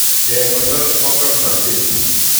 Kekonor mokornotet